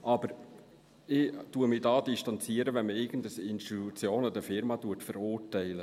Aber ich distanziere mich, wenn man irgendeine Institution oder Firma verurteilt.